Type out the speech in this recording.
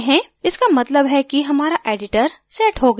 इसका मतलब है कि हमारा editor set हो गया है